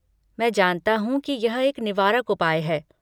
मैं जानता हूँ कि यह एक निवारक उपाय है।